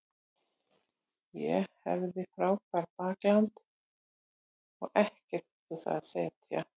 Ég hafði frábært bakland og ekkert út á það að setja.